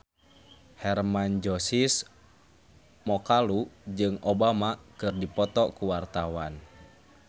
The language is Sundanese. Hermann Josis Mokalu jeung Obama keur dipoto ku wartawan